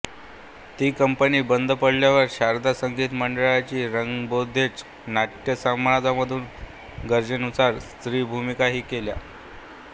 ती कंपनी बंद पडल्यावर शारदा संगीत मंडळी रंगबोधेच्छु नाटय़समाजमधून गरजेनुसार स्त्रीभूमिकाही केल्या